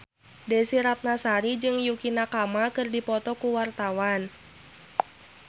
Desy Ratnasari jeung Yukie Nakama keur dipoto ku wartawan